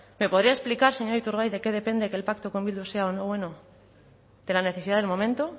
me podría explicar señor iturgaiz de qué depende que el pacto con bildu sea o no bueno de la necesidad del momento